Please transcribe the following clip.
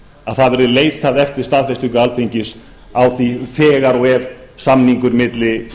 að það verði leitað eftir staðfestingu alþingis á því þegar og ef samningur milli